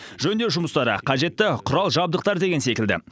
жөндеу жұмыстары қажетті құрал жабдықтар деген секілді